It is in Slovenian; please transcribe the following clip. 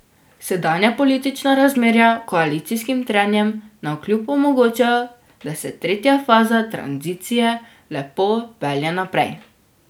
Sedanja politična razmerja koalicijskim trenjem navkljub omogočajo, da se tretja faza tranzicije lepo pelje naprej.